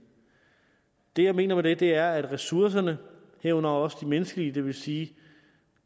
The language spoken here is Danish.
det jeg mener med det er at ressourcerne herunder også de menneskelige det vil sige